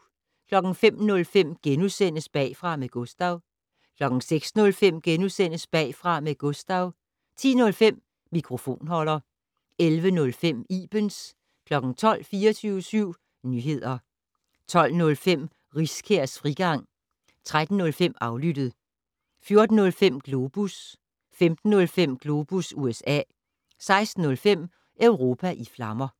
05:05: Bagfra med Gustav * 06:05: Bagfra med Gustav * 10:05: Mikrofonholder 11:05: Ibens 12:00: 24syv Nyehder 12:05: Riskærs frigang 13:05: Aflyttet 14:05: Globus 15:05: Globus USA 16:05: Europa i flammer